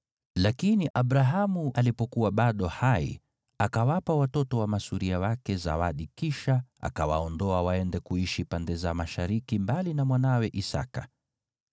Lakini Abrahamu alipokuwa bado hai, akawapa watoto wa masuria wake zawadi, kisha akawaondoa waende kuishi pande za mashariki mbali na mwanawe Isaki.